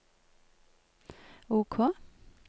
OK